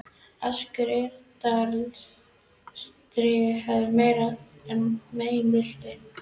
Askur Yggdrasils drýgir erfiði meira en menn viti